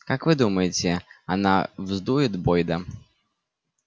как вы думаете она вздует бойда